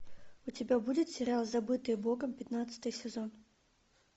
у тебя будет сериал забытые богом пятнадцатый сезон